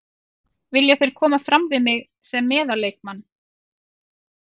Vilja þeir koma fram við mig sem meðal leikmann.